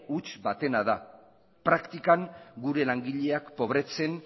huts batena da praktikan gure langileak pobretzen